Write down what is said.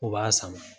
O b'a sama